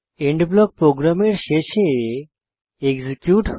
and block প্রোগ্রামের শেষে execute হয়